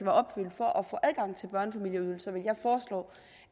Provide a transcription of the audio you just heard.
opfyldt for at få adgang til børnefamilieydelser vil jeg foreslå